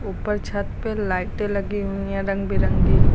ऊपर छत पे लाइटें लगी हुई हैं रंग बिरंगी।